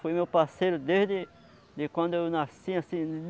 Foi meu parceiro desde de quando eu nasci assim.